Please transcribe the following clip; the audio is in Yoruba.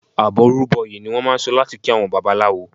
"Àbọrú bọyè" ni wọ́n máà ń sọ láti kí àwọn Babaláwo.